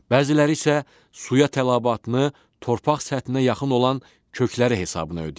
Bəziləri isə suya tələbatını torpaq səthinə yaxın olan kökləri hesabına ödəyir.